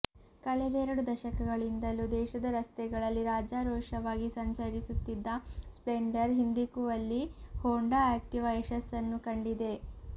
ಕಳೆದೆರಡು ದಶಕಗಳಿಂದಲೂ ದೇಶದ ರಸ್ತೆಗಳಲ್ಲಿ ರಾಜರೋಷವಾಗಿ ಸಂಚರಿಸುತ್ತಿದ್ದ ಸ್ಪ್ಲೆಂಡರ್ ಹಿಂದಿಕ್ಕುವಲ್ಲಿ ಹೋಂಡಾ ಆಕ್ಟಿವಾ ಯಶಸ್ಸನ್ನು ಕಂಡಿದೆ